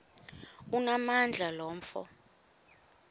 onamandla lo mfo